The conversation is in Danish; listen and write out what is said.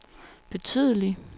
betydelige